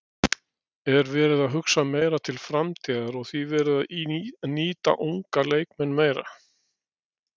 Er verið að hugsa meira til framtíðar og því verið að nýta ungu leikmennina meira?